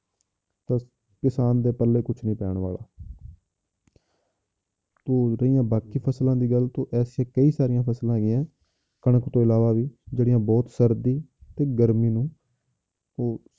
ਤਾਂ ਕਿਸਾਨ ਦੇ ਪੱਲੇ ਕੁਛ ਨੀ ਪੈਣ ਵਾਲਾ ਤੇ ਰਹੀ ਬਾਕੀ ਫਸਲਾਂ ਦੀ ਗੱਲ ਤਾਂ ਐਸੀ ਕਈ ਸਾਰੀ ਫਸਲਾਂ ਹੈਗੀਆਂ ਕਣਕ ਤੋਂ ਇਲਾਵਾ ਵੀ ਜਿਹੜੀਆਂ ਬਹੁਤ ਸਰਦੀ ਤੇ ਗਰਮੀ ਨੂੰ ਉਹ